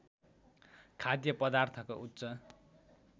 खाद्य पदार्थको उच्च